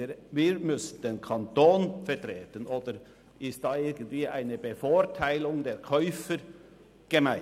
Wir müssen den Kanton vertreten, oder ist hier irgendeine Übervorteilung der Käufer gemeint?